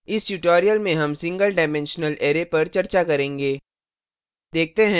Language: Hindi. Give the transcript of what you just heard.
इस tutorial में हम singleडाइमेंशनल array पर चर्चा करेंगे